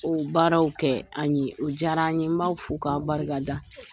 O baaraw kɛ an ye, o diyara an ye . N b'aw fo k'a barika da.